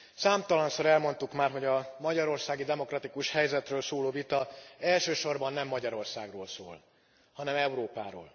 Számtalanszor elmondtuk már, hogy a magyarországi demokratikus helyzetről szóló vita elsősorban nem Magyarországról szól, hanem Európáról.